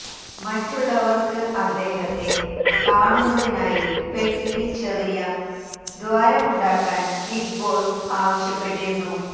മറ്റുള്ളവര്ക്ക് അദ്ദേഹത്തെ കാണുന്നതിനായി പെട്ടിയില് ചെറിയ ദ്വാരമുണ്ടാക്കാന് ബിഗ് ബോസ് ആവശ്യപ്പെട്ടിരുന്നു